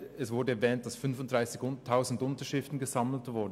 Es wurde weiter erwähnt, dass 35 000 Unterschriften gesammelt wurden.